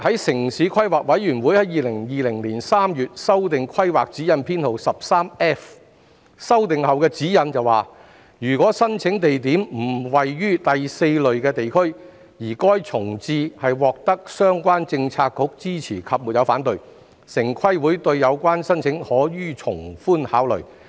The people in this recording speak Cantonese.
"城市規劃委員會在2020年3月修訂規劃指引編號 13F， 據修訂後的指引所述，如申請地點並非位於第4類地區，而該重置獲相關政策局支持及沒有反對，城規會對有關申請可從寬考慮。